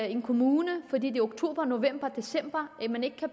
i en kommune fordi det er oktober november eller december